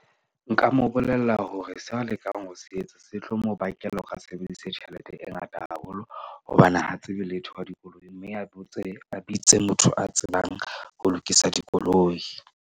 Nka mo bolella hore se a lekang ho se etsa se tlo mo bakela hore a sebedise tjhelete e ngata haholo. Hobane ha tsebe letho ka dikoloi mme a botse, a bitse motho a tsebang ho lokisa dikoloi.